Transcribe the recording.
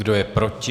Kdo je proti?